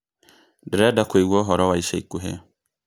Ndĩrenda kũigua ũhoro wa ica ikuhĩ